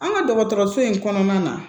An ka dɔgɔtɔrɔso in kɔnɔna na